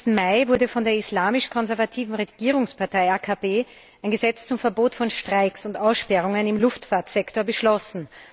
31. Mai wurde von der islamisch konservativen Regierungspartei AKP ein Gesetz zum Verbot von Streiks und Aussperrungen im Luftfahrtsektor beschlossen.